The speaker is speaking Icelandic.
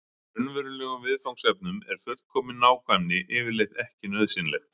Í raunverulegum viðfangsefnum er fullkomin nákvæmni yfirleitt ekki nauðsynleg.